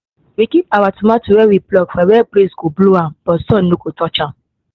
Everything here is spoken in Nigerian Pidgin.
we keep our tomato wey we pluck for where breeze go blow am but sun no go touch am